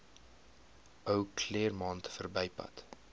ou claremont verbypad